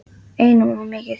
Einum of mikið.